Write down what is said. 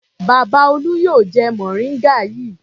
Bàbá Olú yóò jẹ mòríngà yìí.